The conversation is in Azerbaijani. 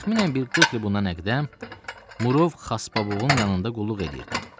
Təxminən bir 40 il bundan əqdəm Murov Xasbabovun yanında qulluq eləyirdim.